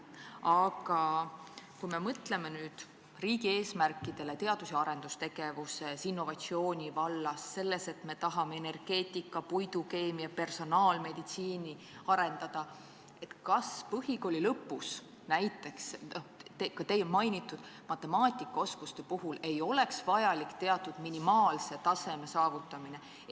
Aga kui me mõtleme riigi eesmärkidele teadus- ja arendustegevuses, innovatsiooni vallas, selles, et me tahame arendada energeetikat, puidukeemiat ja personaalmeditsiini, siis kas põhikooli lõpus, näiteks ka teie mainitud matemaatikaoskuste puhul, ei oleks vajalik teatud minimaalse taseme saavutamine?